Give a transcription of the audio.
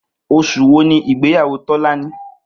Os̩ù wo ni ìgbéyàwó Tó̩láni?